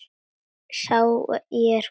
Sá er góður.